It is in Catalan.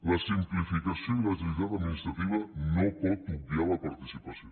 la simplificació i l’agilitat administrativa no poden obviar la participació